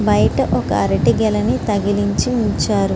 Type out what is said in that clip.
బయట ఒక అరటి గెలని తగిలించి ఉంచారు.